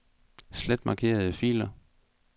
Slet markerede filer.